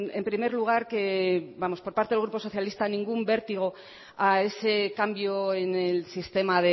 en primer lugar que vamos por partes el grupo socialista ningún vértigo a ese cambio en el sistema